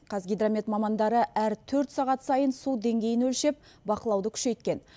қазгидромет мамандары әр төрт сағат сайын су деңгейін өлшеп бақылауды күшейткен